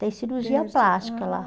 Tem cirurgia plástica lá.